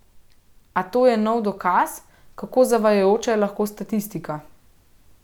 A to je nov dokaz, kako zavajajoča je lahko statistika.